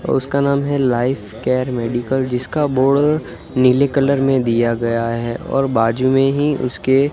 और उसका नाम है लाइफ केयर मेडिकल जिसका बोर्ड नीले कलर में दिया गया है और बाजू में ही उसके--